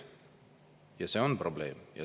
Ja see on probleem.